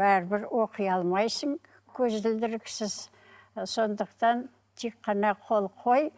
бәрібір оқи алмайсың көзілдіріксіз і сондықтан тек қана қол қой